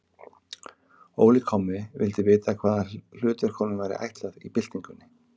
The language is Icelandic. Óli kommi vildi vita, hvaða hlutverk honum væri ætlað í byltingunni.